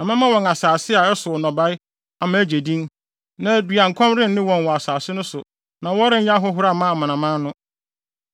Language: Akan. Na mɛma wɔn asase a ɛsow nnɔbae ama agye din, na aduankɔm renne wɔn wɔ asase no so na wɔrenyɛ ahohora mma amanaman no.